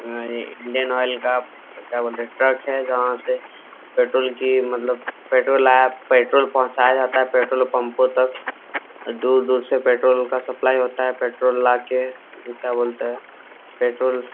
Indian Oil का क्या बोलते हैं ट्रक है जहां से पेट्रोल की मतलब पेट्रोल को लाया पहुंचाया जाता है। पेट्रोल पंपो तक दूर-दूर से पेट्रोल का सप्लाई होता है। पैट्रोल ला के क्या बोलते हैं पेट्रोल --